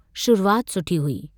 शुरूआत सुठी हुई।